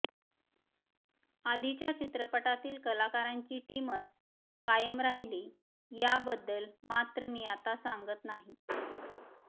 आधीच्या चित्रपटातील कलाकारांची टीमच कायम राहील याबद्दल मात्र मी आता सांगत नाही